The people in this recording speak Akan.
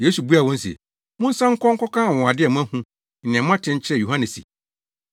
Yesu buaa wɔn se, “Monsan nkɔ nkɔka anwonwade a moahu ne nea moate nkyerɛ Yohane se,